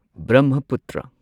Brahmaputra